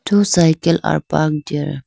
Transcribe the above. two cycle are parked here.